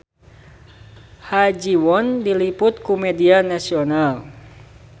Ha Ji Won diliput ku media nasional